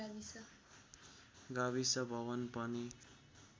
गाविस भवन पनि